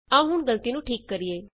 ਆਉ ਹੁਣ ਗਲਤੀ ਨੂੰ ਠੀਕ ਕਰੀਏ